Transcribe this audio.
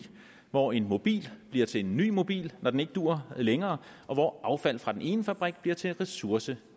hvor en mobil bliver til en ny mobil når den ikke duer længere og hvor affald fra den ene fabrik bliver til en ressource